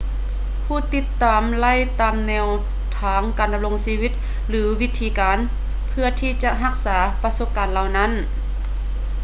ຜູ້ຕິດຕາມໄລ່ຕາມແນວທາງການດຳລົງຊີວິດ ຫຼື ວິທີການເພື່ອທີ່ຈະຮັກສາປະສົບການເຫຼົ່ານັ້ນ